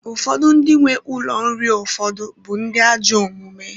Ụfọdụ ndị nwe ụlọ nri ụfọdụ bụ ndị ajọ omume.